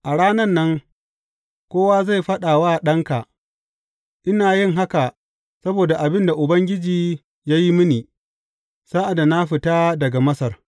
A ranan nan kowa zai faɗa wa ɗanka, Ina yin haka saboda abin da Ubangiji ya yi mini, sa’ad da na fita daga Masar.’